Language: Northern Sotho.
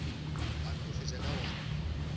a no fetša ka gore